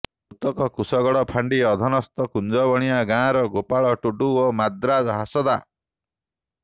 ମୃତକ କୁଶଗଡ଼ ଫାଣ୍ଡି ଅଧିନସ୍ତ କୁଞ୍ଜବଣିଆ ଗାଁର ଗୋପାଳ ଟୁଡୁ ଓ ମାଦ୍ରା ହାସଦା